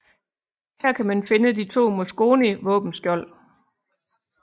Her kan man finde de to Mosconi våbenskjold